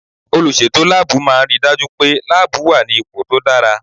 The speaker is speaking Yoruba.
Olùsètò láàbù máà ń ri dájú pé láàbù wà ní ipò tó dára